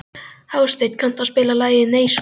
Hásteinn, kanntu að spila lagið „Nei sko“?